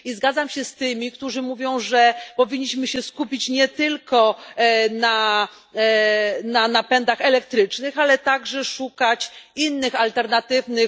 I zgadzam się z tymi, którzy mówią, że powinniśmy się skupić nie tylko na napędach elektrycznych, ale także szukać innych alternatywnych